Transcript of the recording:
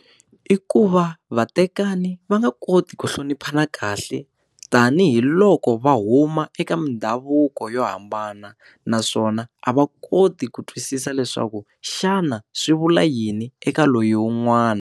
Iku va vatekani va nga koti ku hloniphana kahle tanihiloko va huma eka mindhavuko yo hambana naswona a va koti ku twisisa leswaku xana swi vula yini eka loyi wun'wana.